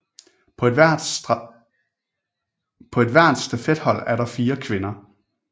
På hvert stafethold er der fire kvinder